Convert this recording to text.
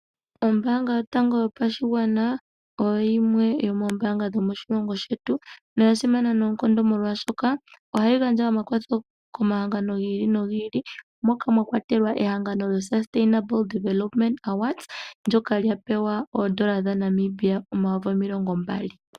Ombaanga yotango yopashigwana oyo yimwe yomoombaanga dhomoshilongo shetu noya simana noonkondo, oshoka ohayi gandja omakwatho komahangano gi ili nogi ili moka mwa kwatelwa ehangano lyoSustainable Development Awards, ndyoka lya pewa N$ 20 000.